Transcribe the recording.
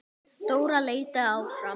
Dóra leitaði áfram.